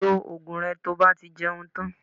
Lo oògùn rẹ tí o bá ti jẹun tán